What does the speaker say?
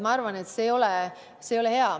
Ma arvan, et see ei ole hea.